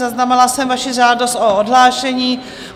Zaznamenala jsem vaši žádost o odhlášení.